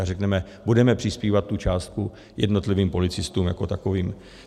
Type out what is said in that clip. A řekneme, budeme přispívat tu částku jednotlivým policistům jako takovým.